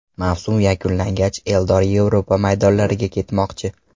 Mavsum yakunlangach Eldor Yevropa maydonlariga ketmoqchi.